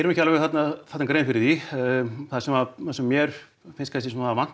ekki alveg grein fyrir því það sem sem mér finnst vanta